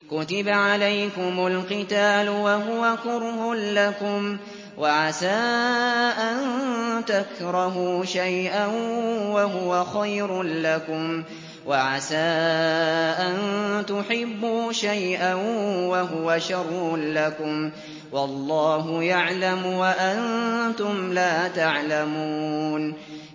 كُتِبَ عَلَيْكُمُ الْقِتَالُ وَهُوَ كُرْهٌ لَّكُمْ ۖ وَعَسَىٰ أَن تَكْرَهُوا شَيْئًا وَهُوَ خَيْرٌ لَّكُمْ ۖ وَعَسَىٰ أَن تُحِبُّوا شَيْئًا وَهُوَ شَرٌّ لَّكُمْ ۗ وَاللَّهُ يَعْلَمُ وَأَنتُمْ لَا تَعْلَمُونَ